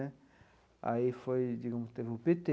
Né aí foi digamos pelo pê tê.